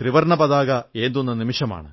ത്രിവർണ്ണ പതാക ഏന്തുന്ന നിമിഷമാണ്